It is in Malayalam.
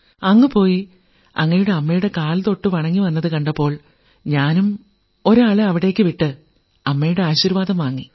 അങ്ങ് പോയി അങ്ങയുടെ അമ്മയുടെ കാൽതൊട്ടു വണങ്ങി വന്നതു കണ്ടപ്പോൾ ഞാനും ഒരാളെ അവിടേക്കു വിട്ട് അമ്മയുടെ ആശീർവ്വാദം വാങ്ങി